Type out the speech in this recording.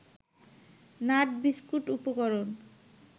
nut biscuit উপকরণ